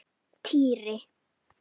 Týri!